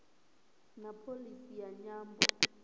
na pholisi ya nyambo